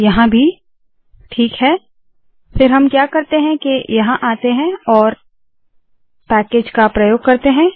यहाँ भी ठीक है फिर हम क्या करते है के यहाँ आते है और पैकेज का प्रयोग करते है